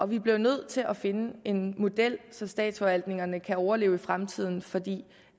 vi bliver nødt til at finde en model så statsforvaltningerne kan overleve i fremtiden for det